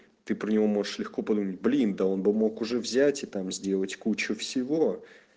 ты про него можешь легко подумать блин да он бы мог уже взять и там сделать кучу всего